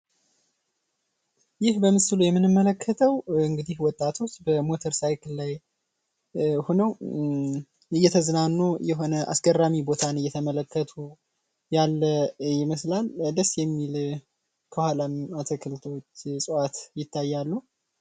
ይህ በምስሉ ላይ የምንመለከተው ወጣቶች እንግዲህ በሞተር ሳይክል ላይ ሁነው እየተዝናኑ የሆነን አስገራሚ ቦታን እየተመለከቱ ያለ ይመስላል። ደስ የሚል ከኋላም አትክልት ቦታዎች እጽዋት ይታያሉ።